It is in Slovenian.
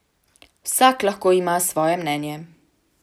Vsak lahko ima svoje mnenje.